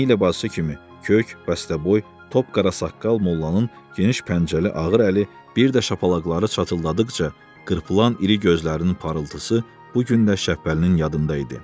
Eynilə bacısı kimi kök, bəstəboy, top qara saqqal mollanın geniş pəncəli ağır əli bir də şapalaqları çatıldadıqca qırpılan iri gözlərinin parıltısı bu gün də Şəhbəlinin yadında idi.